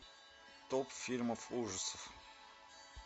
топ фильмов ужасов